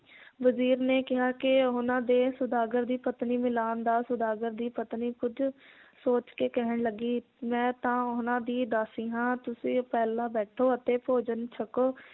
ਵਜ਼ੀਰ ਨੇ ਕਿਹਾ ਕੇ ਉਹਨਾਂ ਦੇ ਸੌਦਾਗਰ ਦੀ ਪਤਨੀ ਮਿਲਾਨ ਦਾ ਸੌਦਾਗਰ ਦੀ ਪਤਨੀ ਕੁੱਝ ਸੋਚ ਕੇ ਕਹਿਣ ਲੱਗੀ ਮੈ ਤਾਂ ਉਹਨਾਂ ਦੀ ਦਾਸੀ ਹਾਂ ਤੁਸੀਂ ਪਹਿਲਾਂ ਬੈਠੋ ਅਤੇ ਭੋਜਨ ਛਕੋ